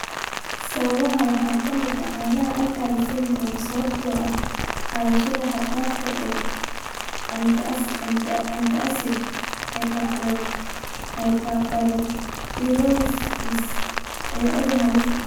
Sababaha waxaa ka mid ah caanaha alkali syndrome (sababtoo ah qaadashada xad-dhaafka ah ee antacids), hyperparathyroidism, iyo cudur halis ah.